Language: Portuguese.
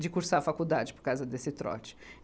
de cursar a faculdade por causa desse trote.